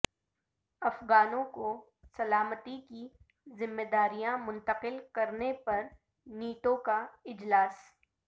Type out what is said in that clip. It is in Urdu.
افغانوں کو سلامتی کی ذمہ داریاں منتقل کرنے پر نیٹو کا اجلاس